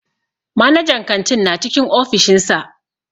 Manajan kantin na cikin ofishin sa.